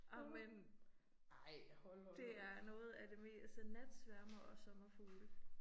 Ej men. Det er noget af det mest sådan natsværmere og sommerfugle